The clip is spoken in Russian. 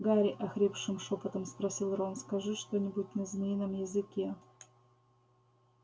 гарри охрипшим шёпотом спросил рон скажи что-нибудь на змеином языке